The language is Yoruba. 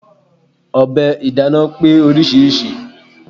Ọ̀bẹ ìdáná pé oríṣiríṣi.